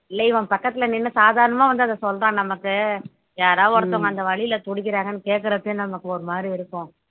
இல்ல இவன் பக்கத்துல நின்னு சாதாரணமா வந்து அத சொல்றான் நமக்கு யாரோ ஒருத்தவங்க அந்த வலியில துடிக்கிறாங்கன்னு கேட்கிறப்பயே நமக்கு ஒரு மாதிரி இருக்கும்